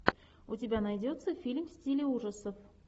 у тебя найдется фильм в стиле ужасов